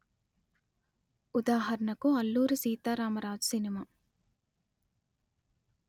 ఉదాహరణకు అల్లూరి సీతారామ రాజు సినిమా